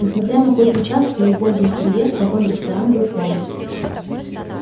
несмотря на поздний час и убогий интерьер вагон-ресторан был полон